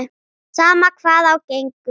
Sama hvað á gengur.